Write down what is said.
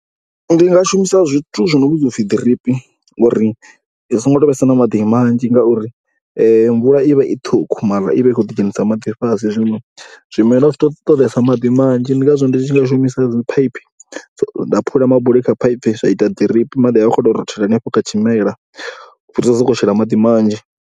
Ndi nga shumisa zwithu zwi no vhidzwa u pfhi ḓiripi uri hu songo tou vhesa na maḓi manzhi ngauri mvula i vha i ṱhukhu mara i vha i kho ḓizhenisa maḓi fhasi. Zwino zwimela zwi tea u ṱoḓesa maḓi manzhi ndi ngazwo ndi tshi nga shumisa dzi phaiphi nda phula mabuli kha phaiphi, zwa ita ḓiripi, maḓi a vha a khou tou rothela henefho kha tshimela u fhirisa u sokou shela maḓi manzhi.